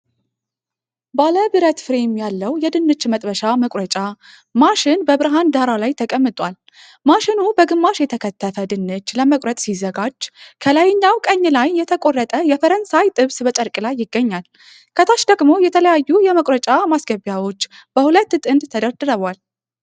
ባለ ብረት ፍሬም ያለው የድንች መጥበሻ መቁረጫ ማሽን በብርሃን ዳራ ላይ ተቀምቷል። ማሽኑ በግማሽ የተከተፈ ድንች ለመቁረጥ ሲዘጋጅ፣ ከላይኛው ቀኝ ላይ የተቆረጠ የፈረንሳይ ጥብስ በጨርቅ ላይ ይገኛል። ከታች ደግሞ የተለያዩ የመቁረጫ ማስገቢያዎች በሁለት ጥንድ ተደርድረዋል።